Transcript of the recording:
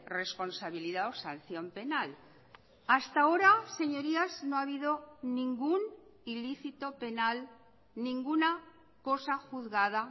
responsabilidad o sanción penal hasta ahora señorías no ha habido ningún ilícito penal ninguna cosa juzgada